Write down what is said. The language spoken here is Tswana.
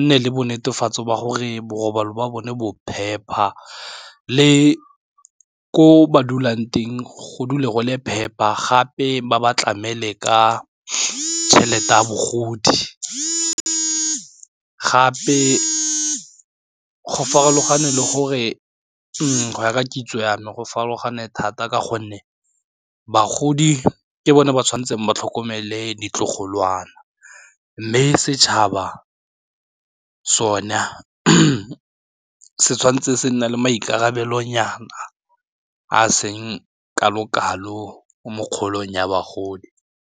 nne le bo netefatso ba gore borobalo ba bone bo phepa le ko ba dulang teng go dula go le phepa gape ba ba tlamele ka tšhelete a bogodi, gape go ya ka kitso ya me go farologane thata ka gonne bagodi ke bone ba tshwanetseng ba tlhokomele ditlogolo ngwana mme setšhaba sone se tshwanetse se nne le maikarabelonyana a seng kalo-kalo mo kgaolong ya bagodi.